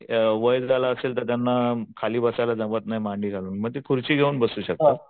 वय झालं असेल तर खाली बसायला जमत नाही मांडी घालून मग ते खुर्ची घेऊन बसू शकतात.